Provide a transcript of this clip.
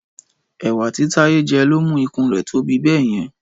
Ẹ̀wà tí Táyé jẹ ló mú ikùn rẹ̀ tóbi bẹ́yẹn